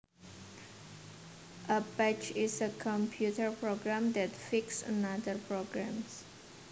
A patch is a computer program that fixes another program